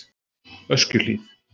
Öskjuhlíð